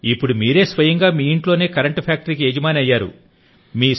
ఇప్పుడు మీరే స్వయంగా మీ ఇంట్లోనే కరెంటు ఫ్యాక్టరీకి యజమాని అయ్యారు